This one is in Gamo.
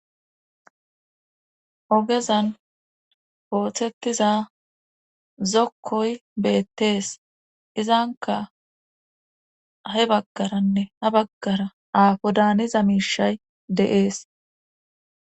Ogezan oothettiza zokkoy beettees izanka he baggaranne ha baggara aafo daaniza miishay de'ees.